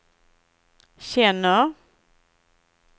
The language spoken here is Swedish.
känner